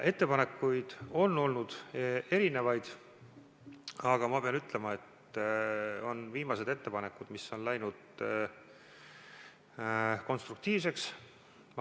Ettepanekuid on olnud erinevaid, aga ma pean ütlema, et just viimased ettepanekud on läinud konstruktiivseks.